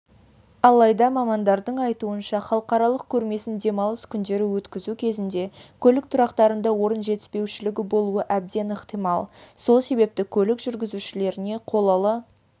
алайда мамандардың айтуынша халықаралық көрмесін демалыс күндері өткізу кезінде көлік тұрақтарында орын жетіспеушілігі болуы әбден ықтимал сол себепті көлік жүргізушілеріне қолалы